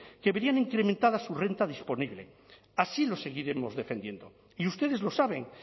que verían incrementada su renta disponible así lo seguiremos defendiendo y ustedes lo saben